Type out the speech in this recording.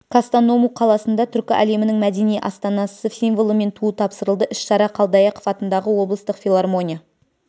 кастаному қаласына түркі әлемінің мәдени астанасы символы мен туы тапсырылды іс-шара қалдаяқов атындағы облыстық филармония